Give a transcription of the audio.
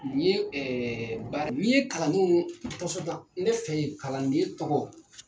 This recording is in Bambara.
Ni ye ɛɛ baara, ni ye kalandew ne fɛ ye kalanden tɔgɔ